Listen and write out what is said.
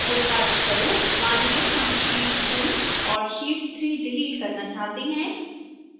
उदाहरणस्वरूप मानिए हम sheet 2 और sheet 3 डिलीट करना चाहते हैं